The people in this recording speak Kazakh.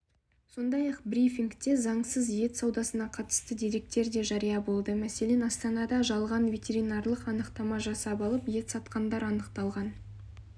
сондай-ақ брифингте заңсыз ет саудасына қатысты деректер де жария болды мәселен астанада жалған ветеринарлық анықтама жасап алып ет сатқандар анықталған